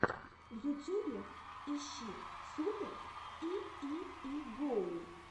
в ютюбе ищи супер и и и гоу